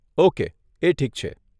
Okay, એ ઠીક છે.